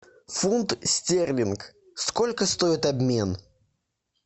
фунт стерлинг сколько стоит обмен